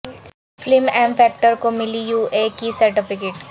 film M factor کو ملی U A کی سرٹیفکٹ